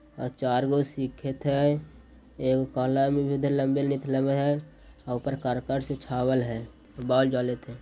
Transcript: आ चारगो सीखेत हय एगो काला में भी उधर लम्बे हय आ ऊपर करकट से छावल हय बॉल जलेत हय।